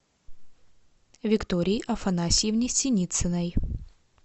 виктории афанасьевне синицыной